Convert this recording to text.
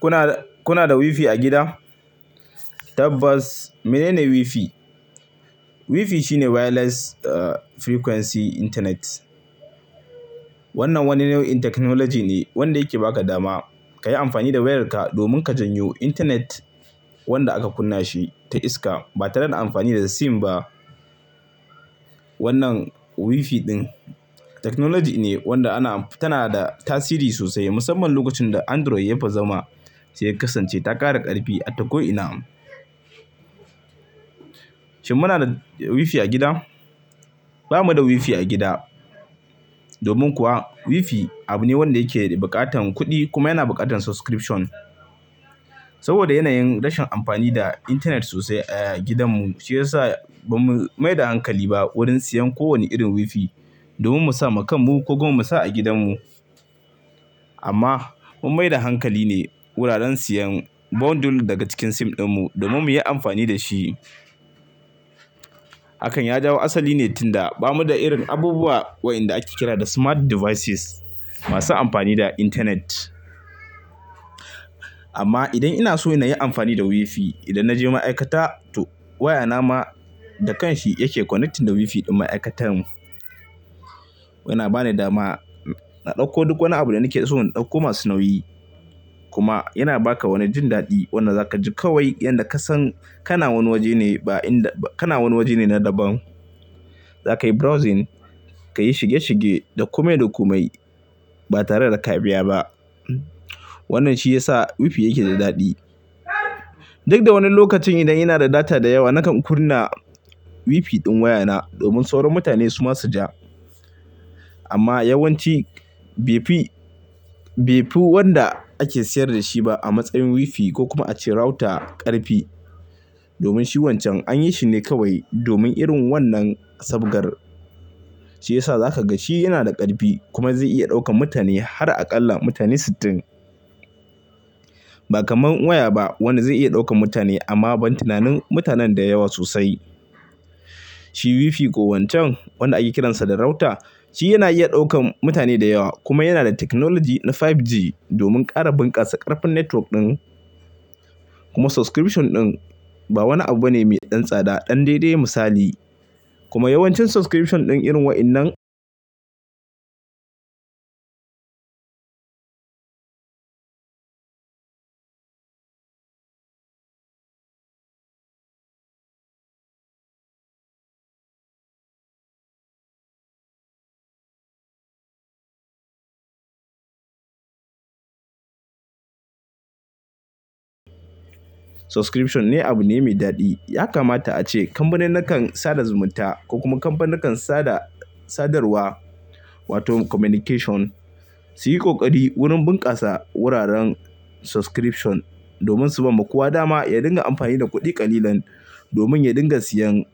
Kuna, kuna da WiFi a gida? Tabbas mene ne WiFi? WiFi shine wireless frequency internet. Wannan wani nau'in technology ne wanda yake ba ka dama ka yi amfani da wayarka domin ka janyo internet wanda aka kunna shi ta iska ba tare da amfani da SIM ba. Wannan WiFi ɗin technology ne wanda ana, tana da tasiri sosai musamman lokacin da Android ya bazama sai ya kasance ta ƙara ƙarfi ata ko ina. Shin muna da WiFi a gida? Ba mu da WiFi a gida domin kuwa WiFi abu ne wanda yake buƙatan kuɗi kuma yana buƙatan subscription. Saboda yanayin rashin amfani da internet sosai a gidanmu shi ya sa ba mu mai da hankali ba wurin siyan ko wani irin WiFi domin mu sa wa kanmu ko kuma mu sa a gidanmu. Amma mun mai da hankali ne wuraren siyan bundle daga cikin SIM ɗinmu domin mu yi amfani da shi. Hakan ya jawo asali ne tun da ba mu da irin abubuwa waɗanda ake kira da smart devices masu amfani da internet. Amma idan ina so na yi amfani da WiFi, idan na je ma'aikata wayana ma da kan shi yake connecting da WiFi ɗin ma'aikatan mu. Yana ba ni dama na ɗauko duk wani abu da nake so, na ɗauko masu nauyi kuma yana ba ka wani jin daɗi wanda za ka ji kawai idan ka san kana wani waje ne ba in da, kana wani waje ne na daban. Za ka yi browsing, ka yi shige shige, da komai, da komai ba tare da ka biya ba. Wannan shi ya sa WiFi yake da daɗi. Duk da wani lokacin idan ina da data da yawa nakan kunna WiFi ɗin wayana domin sauran mutane su ma su ja. Amma yawanci bai fi, bai fi wanda ake sayar da shi ba a matsayin WiFi ko kuma a ce router ƙarfi domin shi wancan an yi shi ne kawai domin irin wannan sabgar. Shi ya sa za ka ga shi yana da ƙarfi kuma zai iya ɗaukan mutane har akalla mutane sittin. Ba kamar waya ba wanda zai iya ɗaukan mutane amma ban tunanin mutanen da yawa sosai. Shi WiFi ko wancan wanda ake kiransa da router, shi yana iya ɗaukan mutane da yawa kuma yana da technology na 5G domin ƙara bunƙasa ƙarfin network ɗin. Kuma subscription ɗin ba wani abu ne mai ɗan tsada ɗan daidai misali. Kuma yawancin subscription ɗin irin waɗannan. Subscription ne abu ne mai daɗi. Ya kamata ace kamfaninnikan sada zumunta ko kuma kamfaninnikan sada sadarwa wato communication su yi ƙoƙari wurin bunƙasa wuraren subscription domin su bamu kowa dama ya dinga amfani da kuɗi ƙalilan domin ya dinga siyan